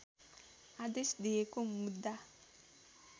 आदेश दिएको मुद्दा